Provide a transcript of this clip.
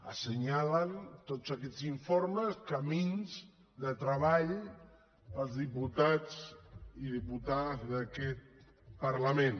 assenyalen tots aquests informes camins de treball per als diputats i diputades d’aquest parlament